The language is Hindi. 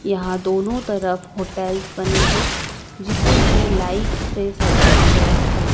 यहां दोनों तरफ होटेल्स बनी है जिसे की लाइट से सजाया गया है।